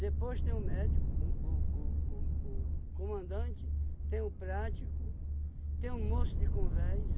Depois tem o médico, um o o o o comandante, tem o prático, tem o moço de convés.